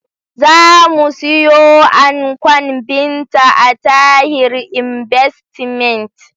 Za mu siyo ankon Binta a Tahir inbastimet